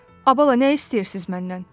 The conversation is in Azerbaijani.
Ay bala, nə istəyirsiz məndən?